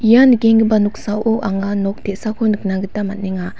ia nikenggipa noksao anga nok te·sako nikna gita man·enga.